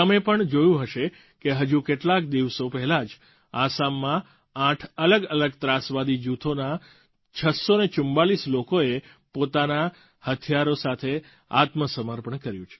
તમે પણ જોયું હશે કે હજુ કેટલાક દિવસો પહેલાં જ આસામમાં આઠ અલગઅલગ ત્રાસવાદી જૂથોના 644 લોકોએ પોતાનાં હથિયારો સાથે આત્મસમર્પણ કર્યું